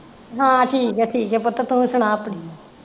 ਹਾਂ ਠੀਕ ਹੈ ਠੀਕ ਹੈ ਪੁੱਤ ਤੂੰ ਸੁਣਾ ਆਪਣਾ?